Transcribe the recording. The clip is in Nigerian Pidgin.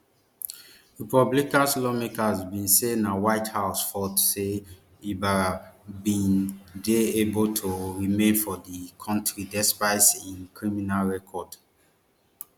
republican lawmakers bin say na white house fault say ibarra bin dey able to remain for di country despite im criminal record